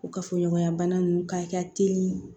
O kafoɲɔgɔnya bana ninnu k'a teli